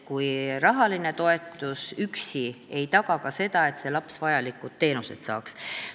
Rahaline toetus üksi ei taga seda, et laps vajalikud teenused saaks.